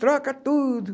Troca tudo.